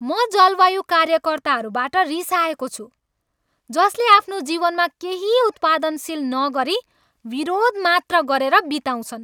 म जलवायु कार्यकर्ताहरूबाट रिसाएको छु जसले आफ्नो जीवनमा केही उत्पादनशील नगरी विरोध मात्र गरेर बिताउँछन्।